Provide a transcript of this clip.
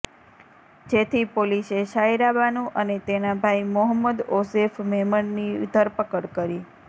જેથી પોલીસે સાયરાબાનુ અને તેના ભાઈ મોહમદ ઓઝેફ મેમણની ધરપકડ કરી